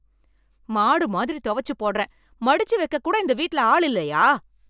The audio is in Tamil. மாடு மாதிரி துவச்சு போடறேன், மடிச்சு வெக்க கூட இந்த வீட்டுல ஆள் இல்லையா?